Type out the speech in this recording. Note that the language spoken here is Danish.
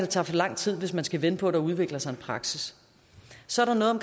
tage for lang tid hvis man skal vente på at der udvikler sig en praksis så